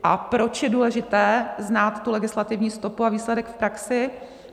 A proč je důležité znát tu legislativní stoupu a výsledek v praxi?